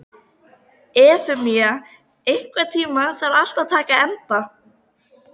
Efemía, einhvern tímann þarf allt að taka enda.